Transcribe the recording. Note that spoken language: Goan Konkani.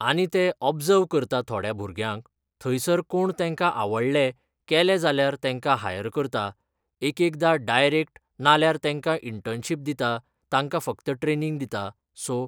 आनी ते ओबजव करता थोड्यां भुरग्यांक थंयसर कोण तेंकां आवडले केले जाल्यार तेंकां हायर करता एकएकदा डायरेक्ट नाल्यार तेंकां इंटनशीप दिता तांकां फक्त ट्रेनींग दिता सो